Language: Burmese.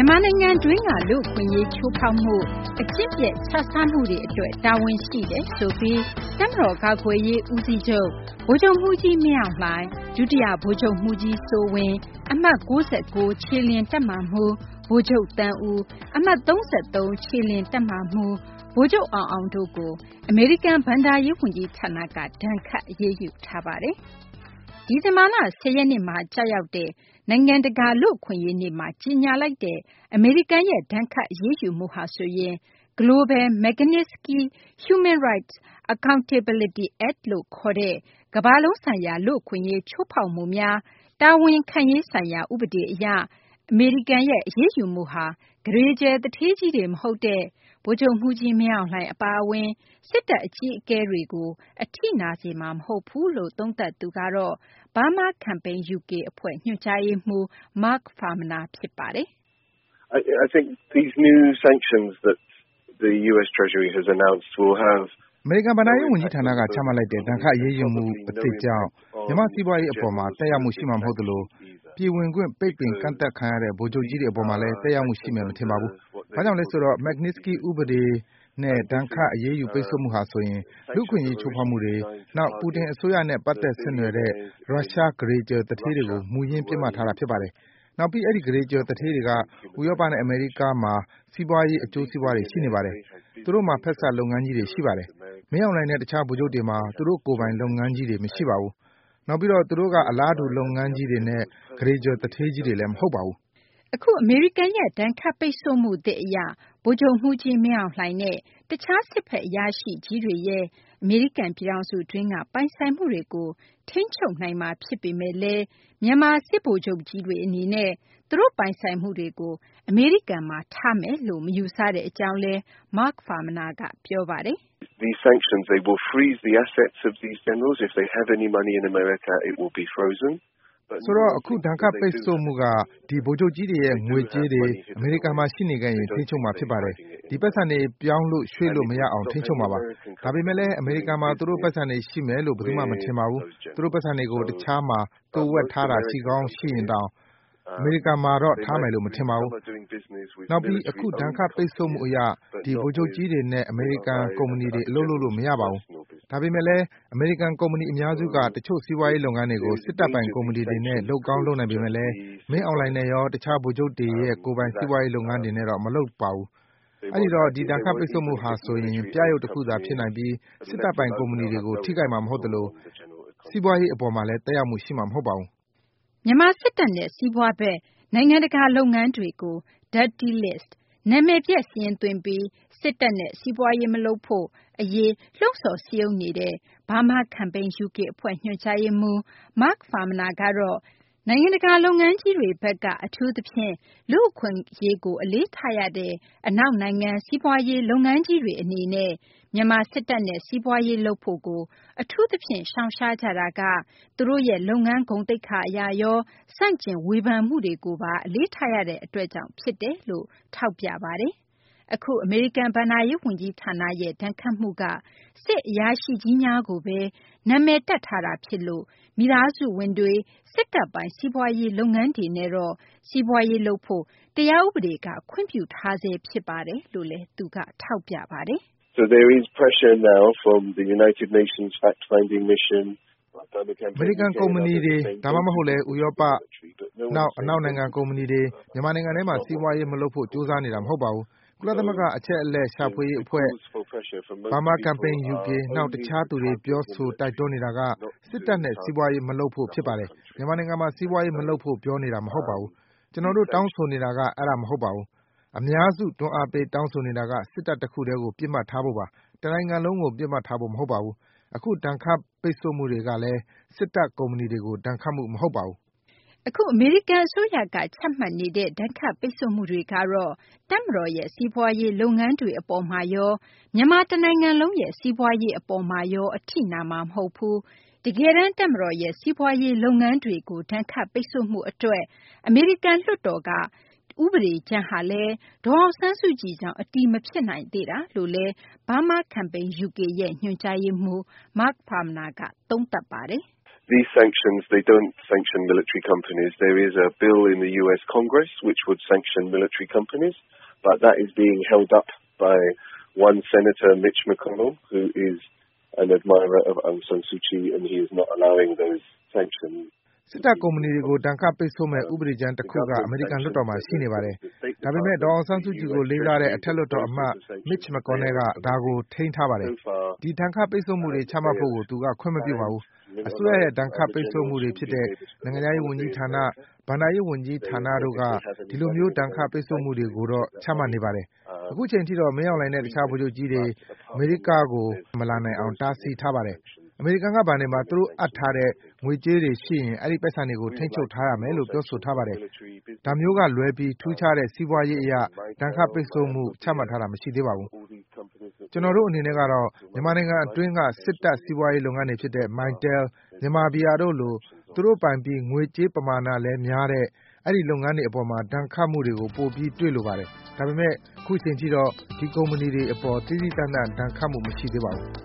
မာနိုင်ငံတွင်းက လူ့အခွင့်အရေး ချိုးဖောက်မှု၊ အကျင့်ပျက် ခြစားမှုတွေ အတွက် တာဝန်ရှိတယ်ဆိုပြီး တပ်မတော် ကာကွယ်ရေး ဦးစီးချုပ် ဗိုလ်ချုပ်မှူးကြီး မင်းအောင်လှိုင်၊ ဒုတိယ ဗိုလ်ချုပ်မှူးကြီး စိုးဝင်း၊ အမှတ် ၉၉ ခြေလျင် တပ်မမှူး ဗိုလ်ချုပ် သန်းဦး၊ အမှတ် ၃၃ ခြေလျင်တပ်မမှူး ဗိုလ်ချုပ် အောင်အောင် တို့ကို အမေရိကန် ဘဏ္ဍာရေး ဝန်ကြီးဌာနက ဒဏ်ခတ် အရေးယူပါတယ်။ ဒီဇင်ဘာလ ၁၀ ရက်နေ့မှာ ကျရောက်တဲ့ နိုင်ငံတကာ လူ့အခွင့်အရေး နေ့မှာ ကြေညာလိုက်တဲ့ ဒဏ်ခတ် အရေးယူမှုဟာဆိုရင် Global Magnitsky Human Rights Accountability Act လို့ခေါ်တဲ့ ကမ္ဘာလုံးဆိုင်ရာ လူ့အခွင့်အရေးချိုးဖောက်မှုများ တာဝန်ခံရေး ဆိုင်ရာ ဥပဒေ အရ အမေရိကန်ရဲ့ အရေးယူမှုဟာ ကုဋေကြွယ် သူဌေးကြီးတွေ မဟုတ်တဲ့ ဗိုလ်ချုပ်မှူးကြီး မင်းအောင်လှိုင် အပါအဝင် စစ်တပ် အကြီးအကဲတွေကို အထိနာစေမှာ မဟုတ်ဘူးလို့ သုံးသပ်သူကတော့ Burma Campaign UK အဖွဲ့ ညွှန်ကြားရေးမှူး Mark Farmaner ဖြစ်ပါတယ်။ “ အမေရိကန် ဘဏ္ဍာရေး ဝန်ကြီးဌာနက ချမှတ်လိုက်တဲ့ ဒဏ်ခတ် အရေးယူမှု အသစ်ကြောင့် မြန်မာ့ စီးပွားရေး အပေါ်မှာ သက်ရောက်မှု ရှိမှာ မဟုတ်သလို၊ ပြည်ဝင်ခွင့် ပိတ်ပင်ကန့်သတ်ခံရတဲ့ ဗိုလ်ချုပ်ကြီးတွေ အပေါ်မှာလည်း သက်ရောက်မှု ရှိမယ် မထင်ပါဘူး။ ဘာကြောင့်လဲ ဆိုတော့ Magnitsky စနစ်လို့ ခေါ်တဲ့ စနစ်အရ ဒဏ်ခတ် ပိတ်ဆို့မှုဟာ ဆိုရင် လူ့အခွင့်အရေး ချိုးဖောက်မှုတွေ၊ နောက် Putin အစိုးရနဲ့ ပတ်သက်ဆက်နွယ်တဲ့ ရုရှား ကုဋေကြွယ် သူဌေးကြီးတွေကို မူရင်း ပစ်မှတ်ထားတာ ဖြစ်ပါတယ်။ နောက်ပြီး အဲဒီ ကုဋေကြွယ် သူဌေးကြီးတွေက ဥရောပနဲ့ အမေရိကမှာ စီးပွားရေး အကျိုးစီးပွားတွေ ရှိနေပါတယ်။ သူတို့မှာ ဖက်စပ် လုပ်ငန်းကြီးတွေ ရှိပါတယ်။ မင်းအောင်လှိုင်နဲ့ တခြား ဗိုလ်ချုပ်တွေမှာ သူတို့ပိုင် လုပ်ငန်းကြီးတွေ မရှိပါဘူး။ နောက်ပြီးတော့ သူတို့က အလားတူ လုပ်ငန်းကြီးတွေနဲ့ ကုဋေကြွယ် သူဌေးကြီးတွေလည်း မဟုတ်ပါဘူး။ ” အခု အမေရိကန်ရဲ့ ဒဏ်ခတ်ပိတ်ဆို့မှုသစ် အရ ဗိုလ်ချုပ်မှူးကြီး မင်းအောင်လှိုင်နဲ့ တခြား စစ်ဘက် အရာရှိကြီးတွေရဲ့ အမေရိကန် ပြည်ထောင်စု အတွင်းက ပိုင်ဆိုင်မှုတွေကို ထိန်းချုပ်နိုင်မှာ ဖြစ်ပေမယ့်လည်း မြန်မာ စစ်ဗိုလ်ချုပ်ကြီးတွေ အနေနဲ့ သူတို့ပိုင်ဆိုင်မှုတွေကို အမေရိကန်မှာ ထားရှိမယ်လို့ မယူဆတဲ့ အကြောင်းလည်း Mark Farmaner က ပြောပါတယ်။ “ ဆိုတော့ အခု ဒဏ်ခတ် ပိတ်ဆို့မှုက ဒီ ဗိုလ်ချုပ်ကြီးတွေရဲ့ ငွေကြေးတွေ အမေရိကန်မှာ ရှိနေခဲ့ရင် ထိန်းချုပ်မှာ ဖြစ်ပါတယ်။ ဒီ ပိုက်ဆံတွေ ပြောင်းလို့ ရွှေ့လို့ မရေအောင် ထိန်းချုပ်မှာပါ။ ဒါပေမယ့်လည်း အမေရိကန်မှာ သူတို့ ပိုက်ဆံတွေ ရှိမယ်လို့ ဘယ်သူမှ မထင်ပါဘူး။ သူတို့ ပိုက်ဆံတွေကို တခြားမှာ သိုဝှက်ထားတာ ရှိရင်တောင် အမေရိကန်မှာတော့ ထားမယ်လို့ မထင်ပါဘူး။ နောက်ပြီး အခု ဒဏ်ခတ် ပိတ်ဆို့မှု အရ ဒီ ဗိုလ်ချုပ်ကြီးတွေနဲ့ အမေရိကန် ကုမ္ပဏီတွေ အလုပ်လုပ်လို့ မရပါဘူး။ ဒါပေမယ့်လည်း အမေရိကန် ကုမ္ပဏီ အများစုက တချို့ စီးပွားရေး လုပ်ငန်းတွေကို စစ်တပ်ပိုင် ကုမ္ပဏီတွေနဲ့ လုပ်ကောင်း လုပ်နိုင်ပေမယ့်လည်း မင်းအောင်လှိုင်နဲ့ရော တခြား ဗိုလ်ချုပ်တွေရဲ့ ကိုယ်ပိုင် စီးပွားရေး လုပ်ငန်းတွေနဲ့တော့ မလုပ်ပါဘူး။ အဲဒီတော့ ဒီဒဏ်ခတ်ပိတ်ဆို့မှုဟာ ဆိုရင် ပြယုဂ် တခုသာ ဖြစ်နိုင်ပြီး စစ်တပ်ပိုင် ကုမ္ပဏီတွေကေို ထိခိုက်မှာ မဟုတ်သလို စီးပွားရေး အပေါ်မှာလည်း သက်ရောက်မှု ရှိမှာ မဟုတ်ပါဘူး။ ” မြန်မာ စစ်တပ်နဲ့ စီးပွားဖက် နိုင်ငံတကာ လုပ်ငန်းတွေကို Dirty List နာမည်ပျက်စာရင်းသွင်းပြီး မြန်မာ စစ်တပ်နဲ့ စီးပွားရေး မလုပ်ဖို့ အရေး လှုံ့ဆော် စည်းရုံးနေတဲ့ Burma Campaign UK အဖွဲ့ ညွှန်ကြားရေးမှူး Mark Farmaner ကတော့ နိုင်ငံတကာ လုပ်ငန်းကြီးတွေဘက်က အထူးသဖြင့် လူ့အခွင့်အရေးကို အလေးထားရတဲ့ အနောက်နိုင်ငံက စီးပွားရေး လုပ်ငန်းကြီးတွေ အနေနဲ့ကတော့ မြန်မာ စစ်တပ်နဲ့ စီးပွားရေး လုပ်ဖို့ကို အထူးသဖြင့် ရှောင်ရှားကြတာက သူတို့ရဲ့ လုပ်ငန်း ဂုဏ်သိက္ခာ အရရော၊ ဆန့်ကျင် ဝေဖန်မှုတွေကိုပါ အလေးထားရတဲ့ အတွက်ကြောင့် ဖြစ်တယ်လို့လည်း သူက ထောက်ပြပါတယ်။ အခု အမေရိကန် ဘဏ္ဍာရေး ဝန်ကြီးဌာနရဲ့ ဒဏ်ခတ်မှုက စစ်အရာရှိကြီးများကိုဘဲ နာမည်တပ် ထားတာ ဖြစ်လို့ သူတို့ မိသားစုဝင်တွေ စစ်တပ်ပိုင် စီးပွားရေး လုပ်ငန်းတွေနဲ့တော့ စီးပွားရေး လုပ်ဖို့ တရားဥပဒေက ခွင့်ပြုထားဆဲ ဖြစ်တယ်လို့လည်း သူက ပြောပါတယ်။ “ အမေရိကန် ကုမ္ပဏီတွေ ဒါမှမဟုတ်လည်း ဥရောပ - နောက် အနောက် နိုင်ငံ ကုမ္ပဏီတွေ မြန်မာနိုင်ငံထဲမှာ စီးပွားရေး မလုပ်ဖို့ ကြိုးစားနေကြတာ မဟုတ်ပါဘူး။ ကုလသမဂ္ဂ အချက်အလက်ရှာ အဖွဲ့၊ Burma Campaign UK နောက် တခြားသူတွေက ပြောဆို တိုက်တွန်းနေတာက စစ်တပ်နဲ့ စီးပွားရေး မလုပ်ဖို့ ဖြစ်ပါတယ်။ မြန်မာနိုင်ငံမှာ စီးပွားရေး မလုပ်ဖို့ ပြောနေတာ မဟုတ်ပါဘူး။ ကျနော်တို့ တောင်းဆိုနေတာ အဲဒါ မဟုတ်ပါဘူး။ အများစု တွန်းအားပေး တောင်းဆိုနေတာက စစ်တပ် တခုတည်းကို ပစ်မှတ်ထားဖို့ပါ၊ တနိုင်ငံလုံးကို ပစ်မှတ်ထားဖို့ မဟုတ်ပါဘူး။ အခု ဒဏ်ခတ်ပိတ်ဆို့မှုတွေကလည်း စစ်တပ် ကုမ္ပဏီတွေကို ဒဏ်ခတ်မှု မဟုတ်ပါဘူး။ ” အခု အမေရိကန် အစိုးရက ချမှတ်နေတဲ့ ဒဏ်ခတ်ပိတ်ဆို့မှုတွေကတော့ တပ်မတော်ရဲ့ စီးပွားရေး လုပ်ငန်းတွေ အပေါ်မှာရော မြန်မာ တနိုင်ငံလုံးရဲ့ စီးပွားရေး အပေါ်မှာရော အထိနာမှာ မဟုတ်ဘူး၊ တကယ်တန်း တပ်မတော်ရဲ့ စီးပွားရေး လုပ်ငန်းတွေကို ဒဏ်ခတ်ပိတ်ဆို့မှု အတွက် အမေရိကန် လွှတ်တော်က ဥပဒေကြမ်းကလည်း ဒေါ်အောင်ဆန်းစုကြည်ကြောင့် အတည်မဖြစ်နိုင်သေးတာလို့လည်း Burma Campaign UK ရဲ့ ညွှန်ကြားရေးမှူး Mark Farmaner က သုံးသပ်ပါတယ်။ “ စစ်တပ် ကုမ္ပဏီတွေကို ဒဏ်ခတ်ပိတ်ဆို့မယ့် ဥပဒေကြမ်း တခုက အမေရိကန် လွှတ်တော်မှာ ရှိနေပါတယ်။ ဒါပေမယ့် ဒေါ်အောင်ဆန်းစုကြည်ကို လေးစားတဲ့ အထက်လွှတ်တော် အမတ် Mitch McConnell က ဒါကို ထိန်းထားပါတယ်။ ဒီ ဒဏ်ခတ်ပိတ်ဆို့မှုတွေ ချမှတ်ဖို့ကို သူက ခွင့်မပြုပါဘူး။ အစိုးရရဲ့ ဒဏ်ခတ်ပိတ်ဆို့မှုတွေ ဖြစ်တဲ့ နိုင်ငံခြားရေး ဝန်ကြီးဌာန၊ ဘဏ္ဍာရေး ဝန်ကြီးဌာနတို့က ဒီလိုမျိုး ဒဏ်ခတ် ပိတ်ဆို့မှုတွေ ကိုတော့ ချမှတ်နေပါတယ်။ အခုအချိန်ထိတော့ မင်းအောင်လှိုင်နဲ့ တခြား ဗိုလ်ချုပ်ကြီးတွေ အမေရိက မလာနိုင်အောင် တားဆီးထားပါတယ်။ အမေရိကန်က ဘဏ်တွေမှာ သူတို့ အပ်ထားတဲ့ ငွေကြေးတွေ ရှိရင် အဲဒီ ပိုက်ဆံတွေကို ထိန်းချုပ် ရယူထားမယ်လို့ ပြောဆိုထားပါတယ်။ ဒါမျိုးက လွဲပြီး ထူးခြားတဲ့ စီးပွားရး အရ ဒဏ်ခတ် ပိတ်ဆို့မှု ချမှတ်ထားတာ မရှိသေးပါဘူး။ ကျနော်တို့ အနေနဲ့ကတော့ မြန်မာနိုင်ငံတွင်းက စစ်တပ် စီးပွားရေး လုပ်ငန်းတွေ ဖြစ်တဲ့ Mytel ၊ Myanmar Beer တို့လို သူတို့ပိုင်ပြီး ငွေကြေးပမာဏလည်း များတဲ့ ဒီ လုပ်ငန်းတွေ အပေါ်မှာ ဒဏ်ခတ်မှုတွေ ပိုပြီး တွေ့လိုပါတယ်။ ဒါပေမယ့် အခုအချိန်ထိတော့ ဒီ ကုမ္ပဏီတွေ အပေါ် သီးသီးသန့်သန့် ဒဏ်ခတ်မှု မရှိသေးပါဘူး